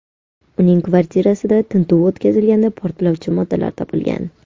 Uning kvartirasida tintuv o‘tkazilganda portlovchi moddalar topilgan.